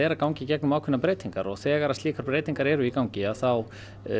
er að ganga í gegnum ákveðnar breytingar og þegar slíkar breytingar eru í gangi þá